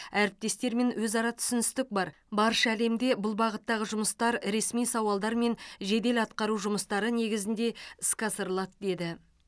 әріптестермен өзара түсіністік бар барша әлемде бұл бағыттағы жұмыстар ресми сауалдар мен жедел атқару жұмыстары негізінде іске асырылады деді